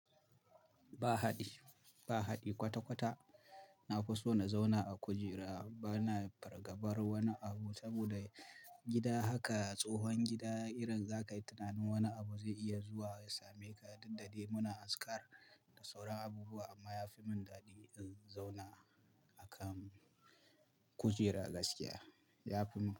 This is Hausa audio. Ba hadi, ba hadi kwata-kwata. Na fi so na zauna a kujera. Bana fargabar wani abu saboda gida haka tsohon gida irin za ka yi tunanin wani abu zai iya zuwa ya same ka, daddare muna azkar da sauran abubuwa amma ya fi mun dadi in zauna a kan kujera gaskiya, ya fi mun dadi.